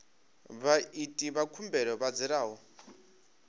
vhaiti vha khumbelo vha dzulaho